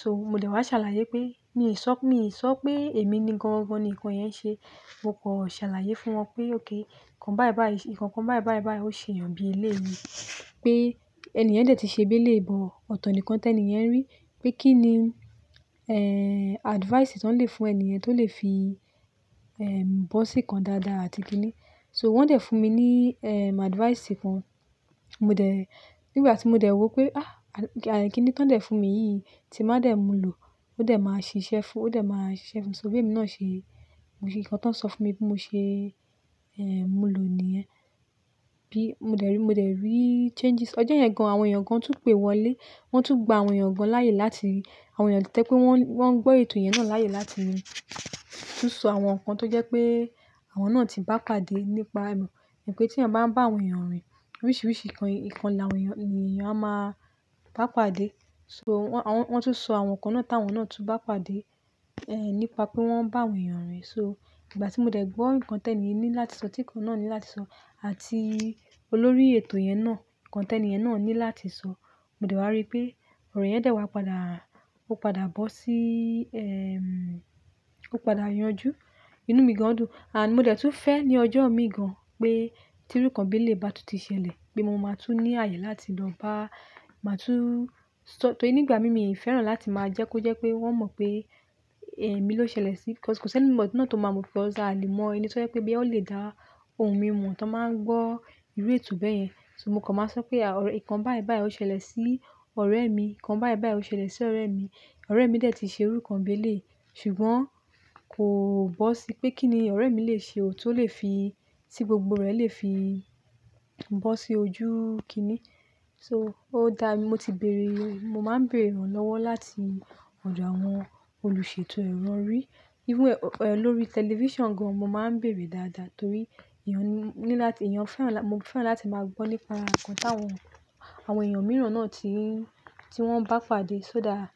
So mo dè wá ṣàlàyé pé, mi sọ, mii sọ pé èmi ni gan-an-an ni nǹkan yẹn ṣe. Mo kọ ṣàlàyé fún wọn pé okay kan bayii-bayii, nǹkan kan bayii-bayii-bayii ó ṣe èèyàn bí eléèé yìí pé eni yen dẹ̀ ti ṣe bí eléè bọ ọ̀to nì nkan tẹ ni yen rí pé kí ni, ẹ́ẹ́, advice tí wọ́n lè fún ènìyen tí ó lè fi, ẹ́ẹ́, bọ́ sí i kan dáadáa àti kíni. So wọ́n dẹ̀ fún mi ní, ẹ́ẹ́, advice kan. Mo dẹ̀, nígbà tí mo dẹ̀ wò pé, ah! Àyè kíni tí wọ́n dẹ̀ fún mi yìí tí má dẹ̀ mu lò ó dẹ̀ máa ṣiṣẹ́ fún, ó dẹ̀ máa ṣiṣẹ́ fún mi. So bí èmi náà ṣe, nǹkan tí wọ́n sọ fún mi bí mo ṣe, ẹ́ẹ́, mu lò níyẹn. Bí mo dẹ̀ rí, mo dẹ̀ rí changes. Ọjọ́ yẹn gan, àwọn èèyàn gan tún pè wọlé. Wọ́n tún gba àwọn èèyàn gan láàyè láti, àwọn èèyàn to je pé wọ́n, wọ́n n gbọ́ ètò yẹn náà láàyè láti tun sọ àwọn nǹkan tó jẹ́ pé àwọn náà ti bá pàdé nípa ẹ mo, e mo pé tí èèyàn bá ń bá àwọn èèyàn rìn, oríṣiríṣi nǹkan, nǹkan làwọn èèyàn, ni èèyàn a máa bá pàdé. So wọ́n tún sọ àwọn nǹkan náà táwọn náà tún bá pàdé, ẹ́ẹ́, nípa pé wọ́n ń bá àwọn èèyàn rìn. So ìgbà tí mo dẹ̀ gbọ́ nǹkan tẹ ni ènì yii ní láti sọ, tí nǹkan náà ní láti sọ àti olórí ètò yẹn náà, nǹkan tẹ ni yen náà ní láti sọ, mo dẹ̀ wá rí pé ọ̀rọ̀ yẹn dẹ̀ wá padà, ó padà bọ́ sí, ẹ́ẹ́, ó padà yanjú. Inú mi gan dùn. And mo dẹ̀ tún fẹ́ ní ọjọ́ mii gan pé tí irú nkan bí eléè bà tún ti ṣẹlẹ̀ pé mo máa tún ní àyè láti lọ bá, máa tún-- torí nígbà mii, mi fẹ́ràn láti máa jẹ́ kó jẹ́ pé wọ́n mọ̀ pé, ẹ́ẹ́, emi ló ṣẹlẹ̀ sí i. Ọ̀pọ̀lọpọ̀ tí ènìyàn tó máa mọ̀ pé ọ̀sà ni mọ́ ẹni tí ó jẹ́ pé bí ẹ ó lè dá ohun mímu tí wọ́n máa ń gbọ́ irú ètò bẹ́ẹ̀ yẹn. So mo kàn máa sọ pé àwọn nǹkan baya-baya ó ṣẹlẹ̀ sí ọ̀rẹ́ mi, nǹkan baya-baya ó ṣẹlẹ̀ sí ọ̀rẹ́ mi. Ọ̀rẹ́ mi dẹ̀ ti ṣe irú kan bí eléyi, ṣùgbọ́n kò bọ́ sí pé kí ni ọ̀rẹ́ mi lè ṣe ò tó lè fi, tí gbogbo rẹ̀ lè fi bọ́ sí ojú kíni. So ó dáa, mo ti bèèrè, mo máa ń bèèrè ìrànlọ́wọ́ láti ọ̀dọ̀ àwọn olùṣètò ẹ̀rọ orí. Irú olórí tẹlifíṣàn gan mo máa ń bèèrè dáadáa torí èèyàn ní láti, èèyàn fẹ́ràn, mo fẹ́ràn láti máa gbọ́ nípa nǹkan táwọn, àwọn èèyàn mìíràn náà ti, tí wọ́n bá pàdé. So dáa.